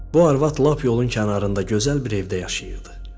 Bu arvad lap yolun kənarında gözəl bir evdə yaşayırdı.